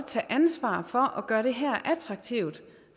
tage ansvar for at gøre det attraktivt